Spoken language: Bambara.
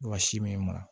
Wa si minna